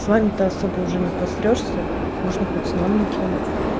с вами-то особо уже не посрёшься можно хоть с новенькими